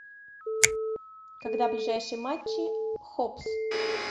когда ближайшие матчи хоббс